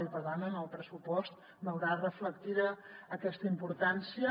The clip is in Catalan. i per tant en el pressupost veurà reflectida aquesta importància